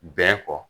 Bɛn kɔ